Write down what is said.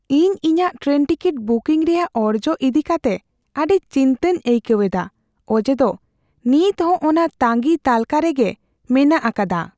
ᱤᱧ ᱤᱧᱟᱜ train ticket booking ᱨᱮᱭᱟᱜ ᱚᱨᱡᱚ ᱤᱫᱤ ᱠᱟᱛᱮ ᱟᱹᱰᱤ ᱪᱤᱱᱛᱟᱹᱧ ᱟᱹᱭᱠᱟᱹᱣ ᱮᱫᱟ ᱚᱡᱮ ᱫᱚ ᱱᱤᱛ ᱦᱚᱸ ᱚᱱᱟ ᱛᱟᱸᱜᱤ ᱛᱟᱹᱞᱠᱟᱹ ᱨᱮᱜᱮ ᱢᱮᱱᱟᱜ ᱟᱠᱟᱫᱟ ᱾